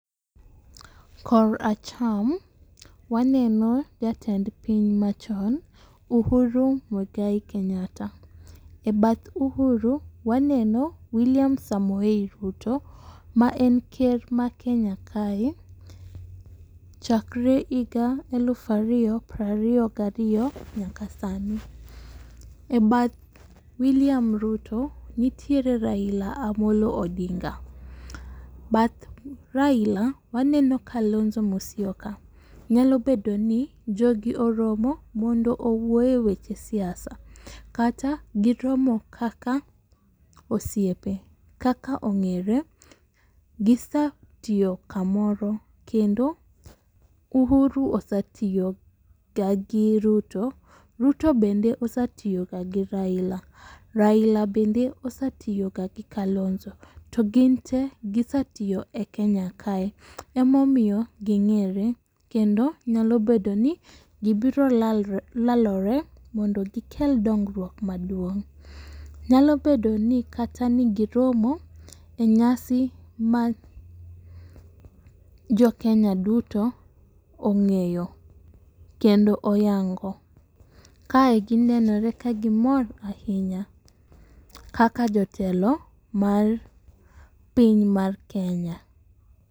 Kor acham waneno jatend piny machon Uhuru Muigai Kenyatta,e bath uhuru ,waneno william Samoei Ruto ma en ker ma kenya kae chakre higa eluf ariyo prariyo gariyo nyaka sani. E bath williiam Ruto nitiere Raila Amollo Odinga,e bath Raila, waneno Kalonzo Musyoka, nyalo bedoni jogi oromo mondo owuo e weche siasa kata giromo kaka osiepe, kaka ong'ere, gisetiyo kamoto kendo Uhuru osetiyoga gi Ruto, Ruto bende osetiyoga gi Raila, Raila bende osetiyoga gi Kalonzo, to ginte gisetiyo e Kenya kae, emomiyo ging'ere kendo nyalo bedo ni gibiro lalore mondo gikel dongruok maduong'. Nyalo bedo ni kata ne giromo e nyasi ma jokenya duto ong'eyo kendo oyango. Kae ginenore ka gimor ahinya kaka jotelo mar piny mar Kenya.